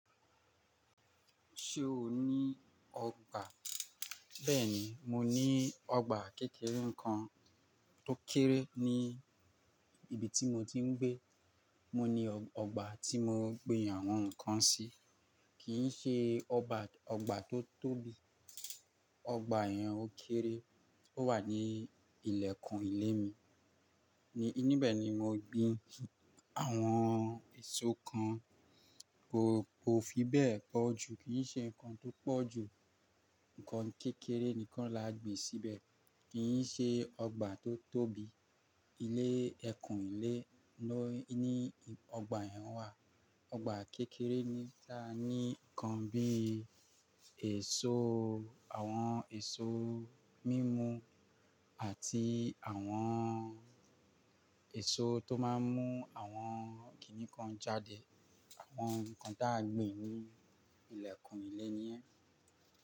Ṣé o ní ọgbà? Bẹ́ẹ̀ni, mo ní ọgbà kékeré kan tó kéré ní ibi tí mo ti ń gbé. Mo ní ọgbà tí mo gbin àwọn nǹkan sí, kì í ṣe ọgbà tó tóbi. Ọgbà yẹn ó kéré, ó wà ní ilẹ̀kùn ilé mi. Ní ibẹ̀ ni mo gbin àwọn èso kan. Ko ko fi bẹ́ẹ̀ pọ̀ jù, kì í ṣe nǹkan tó pọ̀ jù, nǹkan kékeré nìkan la gbin síbẹ̀. Kì í ṣe ọgbà tó tóbi. Ilé, ẹkùn ilé ni ọgbà yẹn wà. Ọgbà kékeré ni, la ní nǹkan bí i èso, àwọn èso mímu àti àwọn èso tó máa ń mú àwọn kìnnìkan jáde. Àwọn nǹkan taa gbin ní ilẹ̀kùn ilé ni yẹ́n.